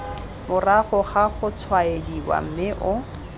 morago ga gotshwaediwa mme o